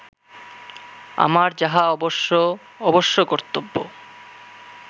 আমার যাহা অবশ্য অবশ্যকর্তব্য